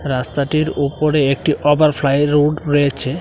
রাস্তাটির ওপরে একটি ওভারফ্লাই রুট রয়েছে।